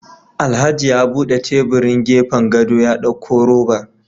Alhaji ya bude tebirin gefen gado ya dauko robar